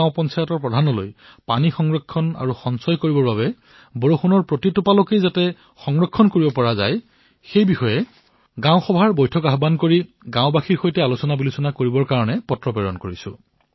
মই গাঁওবুঢ়াসকললৈ লিখিলো যে পানী সংৰক্ষণৰ বাবে পানী সঞ্চয় কৰাৰ বাবে বৰষুণৰ টোপাল টোপাল পানী সংৰক্ষণৰ বাবে তেওঁলোকে যাতে গাঁৱত বৈঠক অনুষ্ঠিত কৰি গাঁওবাসীৰ সৈতে বহি চিন্তা কৰে